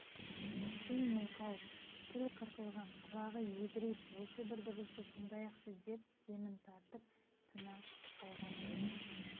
түн мылқау тіл қырқылған құлағы едірейіп осы бір дыбысты тыңдайықшы деп демін тартып тына қалғандай